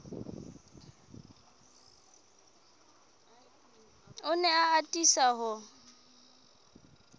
o ne a atisa ho